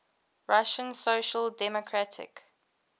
russian social democratic